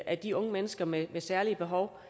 af de unge mennesker med særlige behov